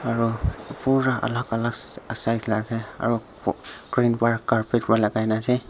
aru pura alag alag size lage aru green para carpet logai kina ase.